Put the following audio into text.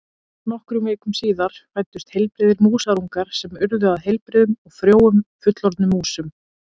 Nokkrum vikum síðar fæddust heilbrigðir músarungar sem urðu að heilbrigðum og frjóum fullorðnum músum.